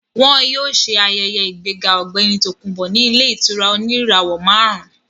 Wọ́n yóò ṣe ayẹyẹ ìgbéga ọ̀gbẹ́ni Tòkunbọ̀ ní ilé ìtura oníràwọ̀ máàrún